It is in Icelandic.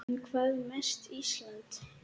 En hvað með Ísland.